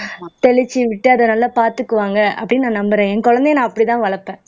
தெளிச்சு விட்டு அதை நல்லா பார்த்துக்குவாங்க அப்படின்னு நான் நம்புறேன் என் குழந்தையை நான் அப்படித்தான் வளர்ப்பேன்